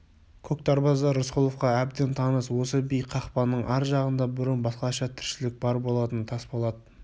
көк дарбаза рысқұловқа әбден таныс осы биік қақпаның ар жағында бұрын басқаша тіршілік бар болатын тасболат